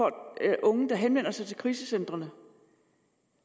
af unge der henvender sig til krisecentrene